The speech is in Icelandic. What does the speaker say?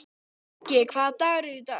Bjöggi, hvaða dagur er í dag?